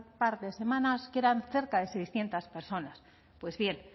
par de semanas que eran cerca de seiscientos personas pues bien